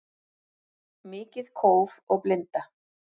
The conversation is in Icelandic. Mikið kóf og blinda